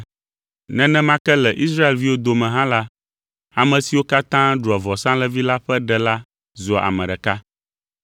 Nenema ke le Israelviwo dome hã la, ame siwo katã ɖua vɔsalẽvi la ƒe ɖe la zua ame ɖeka.